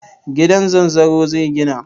Gida zanzaro zai gina.